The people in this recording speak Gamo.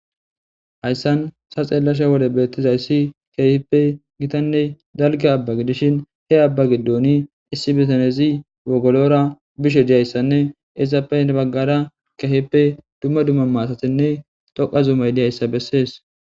Hayssan sa xeellasha wole beettizayssi keehippe gitanne dalga abbagi dishin he abbagi doni issi bitanezi wogolora bishe diayssanne izappe nebaggara kehippe dumma dumma maasatinne toqa zumay diyayssa bessees.